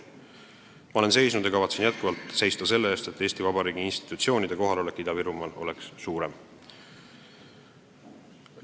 Ma olen seisnud ja kavatsen jätkuvalt seista selle eest, et Eesti Vabariigi institutsioonide kohalolek Ida-Virumaal oleks suurem.